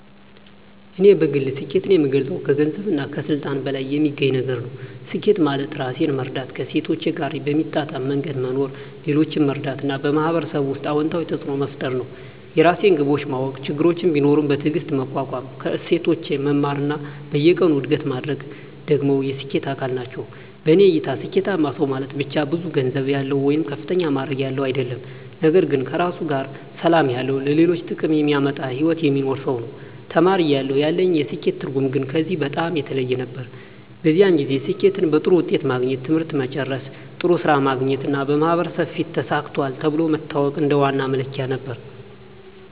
እኔ በግል ስኬትን የምገልጸው ከገንዘብና ከስልጣን በላይ የሚገኝ ነገር ነው። ስኬት ማለት ራሴን መረዳት፣ ከእሴቶቼ ጋር በሚጣጣም መንገድ መኖር፣ ሌሎችን መርዳት እና በማህበረሰብ ውስጥ አዎንታዊ ተፅዕኖ መፍጠር ነው። የራሴን ግቦች ማወቅ፣ ችግሮችን ቢኖሩም በትዕግስት መቋቋም፣ ከስህተቶቼ መማር እና በየቀኑ እድገት ማድረግ ደግሞ የስኬት አካል ናቸው። በእኔ እይታ ስኬታማ ሰው ማለት ብቻ ብዙ ገንዘብ ያለው ወይም ከፍተኛ ማዕረግ ያለው አይደለም፤ ነገር ግን ከራሱ ጋር ሰላም ያለው፣ ለሌሎች ጥቅም የሚያመጣ ሕይወት የሚኖር ሰው ነው። ተማሪ እያለሁ ያለኝ የስኬት ትርጉም ግን ከዚህ በጣም የተለየ ነበር። በዚያን ጊዜ ስኬትን በጥሩ ውጤት ማግኘት፣ ትምህርት መጨረስ፣ ጥሩ ሥራ ማግኘት እና በማህበረሰብ ፊት “ተሳክቷል” ተብሎ መታወቅ እንደ ዋና መለኪያ ነበር።